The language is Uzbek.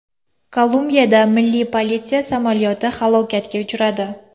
Kolumbiyada milliy politsiya samolyoti halokatga uchradi.